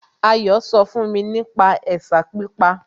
Ayọ̀ sọ fún mi nípa ẹ̀sà pípa